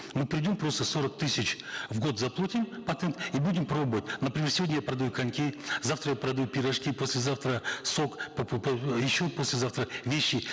мы придем просто сорок тысяч в год заплатим патент и будем пробовать например сегодня я продаю коньки завтра я продаю пирожки послезавтра сок еще послезавтра вещи